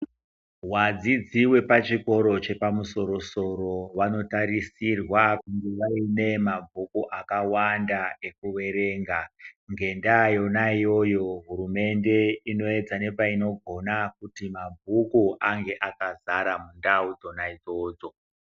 Wadzidzi wepachikoro chepamusoro soro vanotarisirwa kunge vaine mabhuku akawanda ekuverenga ngenda yona iyoyo hurumende inoedza ngepainogona kuti mabhuku ange akadzara mundau dzona idzodzo.